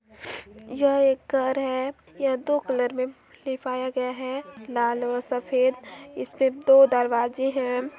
यह एक घर है यह दो कलर में लिपाया गया है लाल और सफेद इसमें दो दरवाजे हैं ।